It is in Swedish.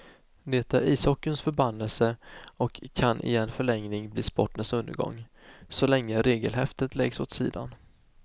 Det är ishockeyns förbannelse och kan i en förlängning bli sportens undergång, så länge regelhäftet läggs åt sidan.